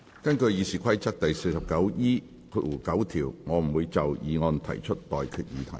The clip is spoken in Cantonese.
根據《議事規則》第 49E9 條，我不會就議案提出待決議題。